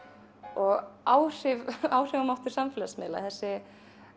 og áhrifamáttur áhrifamáttur samfélagsmiðla þessi